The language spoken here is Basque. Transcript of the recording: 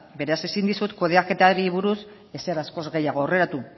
beraz ezin dizut kudeaketari buruz ezer askoz gehiago aurreratu